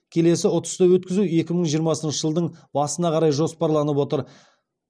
келесі ұтысты өткізу екі мың жиырмасыншы жылдың басына қарай жоспарланып отыр